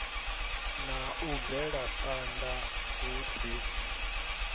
na u bvelaphanda hu si